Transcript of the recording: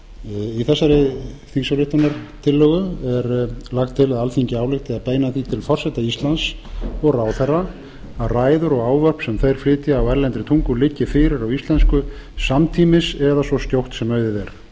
í þessari þingsályktunartillögu er lagt til að alþingi álykti að beina því til forseta íslands og ráðherra að ræður og ávörp sem þeir flytja á erlendri tungu liggi fyrir á íslensku samtímis eða svo skjótt sem auðið